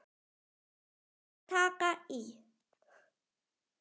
Eða taka í.